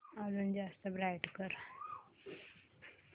अजून जास्त ब्राईट कर